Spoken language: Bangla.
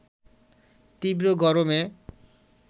তীব্র গরমে